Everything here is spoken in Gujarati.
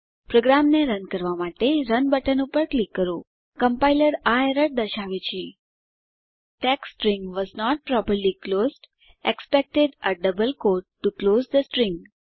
પ્રોગ્રામને રન કરવાં માટે રન બટન પર ક્લિક કરીએ કોમ્પ્લાયર આ એરર દર્શાવે છે text string was not properly closed expected a double quote to close the string